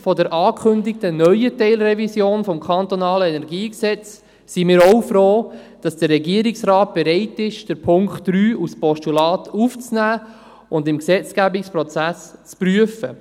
Angesichts der angekündigten neuen Teilrevision des KEnG sind wir auch froh, dass der Regierungsrat bereit ist, den Punkt 3 als Postulat anzunehmen und ihn im Gesetzgebungsprozess zu prüfen.